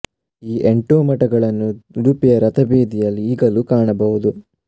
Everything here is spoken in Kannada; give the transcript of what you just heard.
ಈ ಎಂಟೂ ಮಠಗಳನ್ನು ಉಡುಪಿಯ ರಥ ಬೀದಿಯಲ್ಲಿ ಈಗಲೂ ಕಾಣಬಹುದು